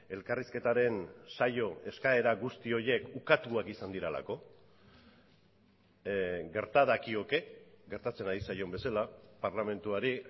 elkarrizketaren saio eskaera guzti horiek ukatuak izan direlako gerta dakioke gertatzen ari zaion bezala parlamentuari